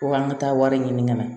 Ko an ka taa wari ɲini ka na